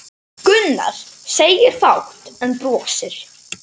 Gunnar segir fátt en brosir.